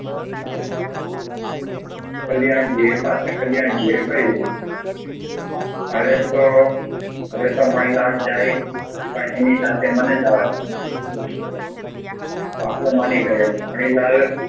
કલ્યાણજીએ એ પાછા કલ્યાણજી એ હવે તો હવે તો મણિલાલ એની સાથે મને જવા દો બાપુ માની ગયાપણ એ